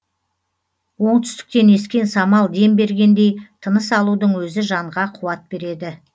оңтүстіктен ескен самал дем бергендей тыныс алудың өзі жанға қуат береді